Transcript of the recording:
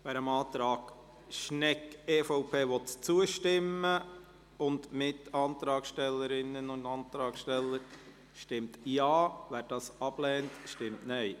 Wer dem Antrag Schnegg/EVP und Mitantragsstellerinnen und -antragssteller zustimmen will, stimmt Ja, wer dies ablehnt, stimmt Nein.